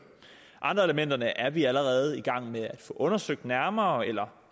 andre af elementerne er vi allerede i gang med at få undersøgt nærmere eller